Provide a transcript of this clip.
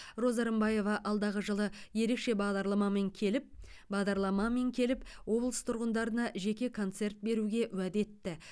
роза рымбаева алдағы жылы ерекше бағдарламамен келіп бағдарламамен келіп облыс тұрғындарына жеке концерт беруге уәде етті